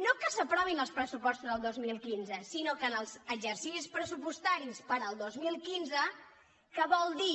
no que s’aprovin els pressupostos del dos mil quinze sinó que en els exercicis pressupostaris per al dos mil quinze que vol dir